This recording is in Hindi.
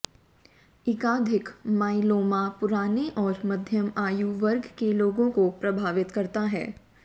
एकाधिक माइलोमा पुराने और मध्यम आयु वर्ग के लोगों को प्रभावित करता है